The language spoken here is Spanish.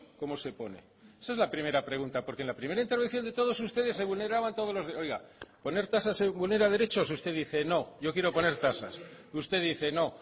cómo se pone esa es la primera pregunta porque en la primera intervención de todos ustedes se vulneraban todos los oiga poner tasas se vulnera derechos usted dice no yo quiero poner tasas usted dice no